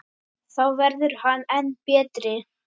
Þá verður hann enn betri.